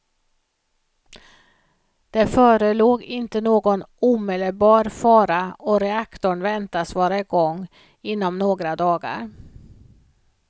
Det förelåg inte någon omedelbar fara och reaktorn väntas vara igång igenom om några dagar.